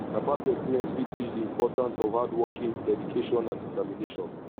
na past experience fit teach di important of hardworking dedication and determination